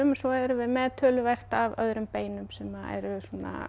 en svo erum við með töluvert af öðrum beinum beinum sem eru